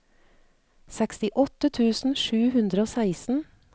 sekstiåtte tusen sju hundre og seksten